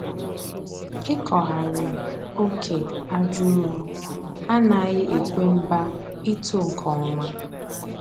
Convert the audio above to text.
Ịkọgharị oke aja ụrọ anaghị ekwe mba ito nke ọma